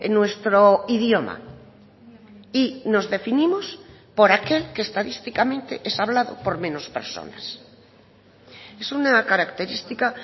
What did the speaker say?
nuestro idioma y nos definimos por aquel que estadísticamente es hablado por menos personas es una característica